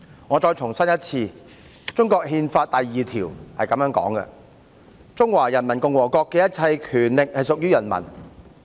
我再重申一次，中國憲法第二條表示："中華人民共和國的一切權力屬於人民。